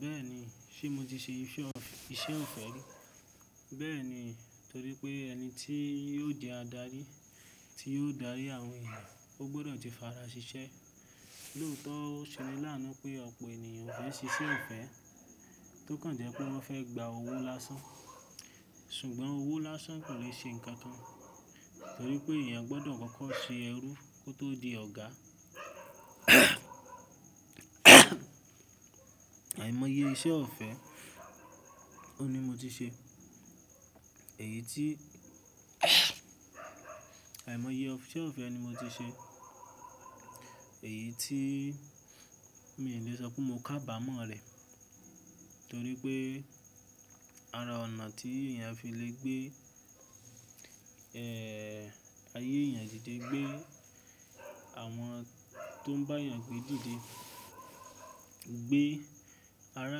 Bẹ́ẹ̀ni, ṣe mo ti ṣe iṣẹ́ ọ̀fẹ́ rí. Bẹ́ẹ̀ni, torí pé ẹni tí yio di adarí, tí yóò darí àwọn ènìyàn, ó gbọ́dọ̀ ti fara ṣiṣẹ́. Lóòótọ́, ó ṣe ni láànú pé ọ̀pọ̀ ènìyàn o fẹ́ ṣiṣẹ́ ìfẹ́, tó kàn jẹ́ pé wọ́n fẹ́ gbá owó lásán. Ṣùgbọ́n owó lásán kò le ṣe nǹkan kan, torí pé èèyàn gbọ́dọ̀ kọkọ ṣe ẹrú kó tó di ọ̀gá. Àìmọye iṣẹ́ ọ̀fẹ́, òun ni mo ti ṣe. Èyí tí àìmọye iṣẹ́ ọ̀fẹ́ ni mo ti ṣe. Èyí tí mi le sọ pé mó kábàámọ̀ rẹ̀, torí pé ara ọ̀nà tí èèyàn fi le gbé, ayé èèyàn dìde, gbé àwọn tó ń bá èèyàn gbé dìde, gbé ará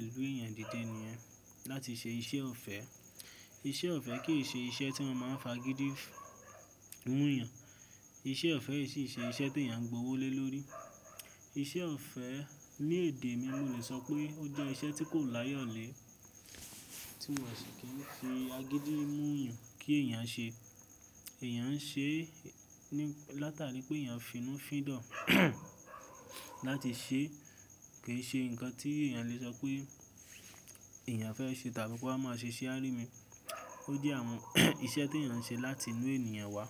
ìlú èèyàn dìde nìyẹn, láti ṣe iṣẹ́ ọ̀fẹ́. Iṣẹ́ ọ̀fẹ́ kì í ṣe iṣẹ́ tí mo máa ń fi agídí mú yàn. Iṣẹ́ ọ̀fẹ́ sì í ṣe iṣẹ́ tí èèyàn ń gbà owó lé lórí. Iṣẹ́ ọ̀fẹ́ ní èdè mi, mo le sọ pé ó jẹ́ iṣẹ́ tí kò láyọ̀lé, tí wọ́n sì kì n fi agídí mú yàn kí èèyàn ṣe. Èèyàn ń ṣe é látàrí pé èèyàn fí inú fídà láti ṣe é. Kì í ṣe ǹkan tí èèyàn le sọ pé èèyàn fẹ́ ṣe tàbí ko wa máa ṣe iṣẹ á rí mi. Ó jẹ́ àwon iṣẹ́ t'èèyàn ń ṣe láti nú ènìyàn wá.